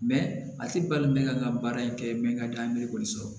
a tɛ bali mɛ ka n ka baara in kɛ mɛ n ka da merikoli sɔrɔ